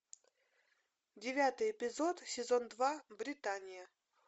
девятый эпизод сезон два британия